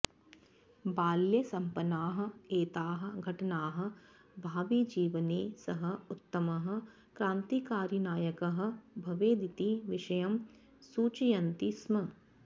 बाल्ये सम्पन्नाः एताः घटनाः भाविजीवने सः उत्तमः क्रान्तिकारिनायकः भवेदिति विषयं सूचयन्ति स्म